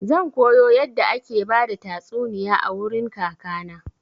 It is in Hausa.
Zan koyo yadda ake bada tastuniya a wurin kaka na.